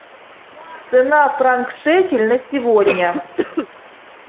цена франк шекель на сегодня